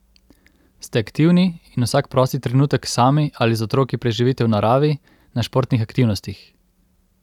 Ste aktivni in vsak prosti trenutek sami ali z otroki preživite v naravi, na športnih aktivnostih?